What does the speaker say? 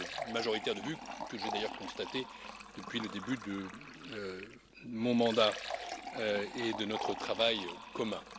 majoritaire de vue, que j'ai d'ailleurs constatée depuis le début de mon mandat et de notre travail commun.